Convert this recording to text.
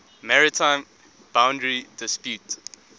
maritime boundary dispute